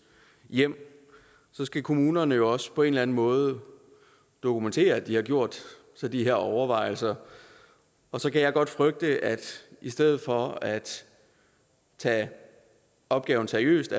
hjem så skal kommunerne jo også på en eller anden måde dokumentere at de har gjort sig de her overvejelser og så kan jeg godt frygte at i stedet for at tage opgaven seriøst